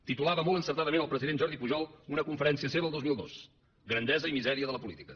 titulava molt encertadament el president jordi pujol una conferència seva el dos mil dos grandesa i misèria de la política